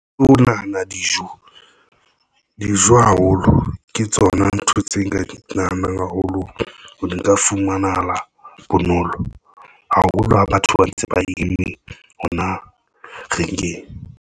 Ho nahana dijo haholo ke tsona ntho tse nka di nahanang haholo ho di nka. Fumanahala bonolo haholo ho batho ba ntse ba imme hona.